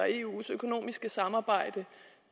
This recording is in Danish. eus økonomiske samarbejde